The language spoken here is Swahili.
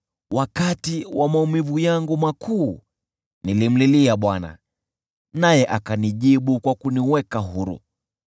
Wakati wa maumivu yangu makuu nilimlilia Bwana , naye akanijibu kwa kuniweka huru.